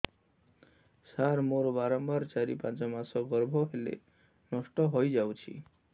ସାର ମୋର ବାରମ୍ବାର ଚାରି ରୁ ପାଞ୍ଚ ମାସ ଗର୍ଭ ହେଲେ ନଷ୍ଟ ହଇଯାଉଛି